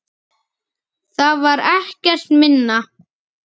Það var ekkert minna.